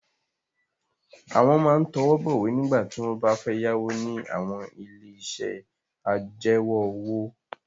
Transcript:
Àwọn máa ń tọwọ́ bọ̀wé nígbà tí wọ́n bá ń fẹ́ yáwó ní àwọn ilé-iṣẹ́ ajẹwọ́-òwò.